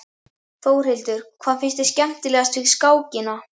Þórhildur: Hvað finnst þér skemmtilegast við skákina?